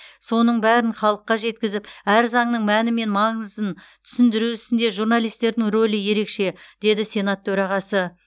соның бәрін халыққа жеткізіп әр заңның мәні мен маңызын түсіндіру ісінде журналистердің рөлі ерекше деді сенат төрағасы